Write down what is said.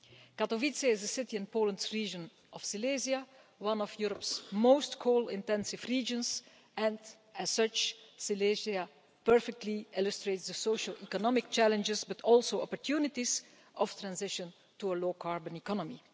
Katowice is a city in Poland's region of Silesia, one of Europe's most coal intensive regions and, as such, Silesia perfectly illustrates the social economic challenges, but also opportunities, of transition to a low-carbon economy.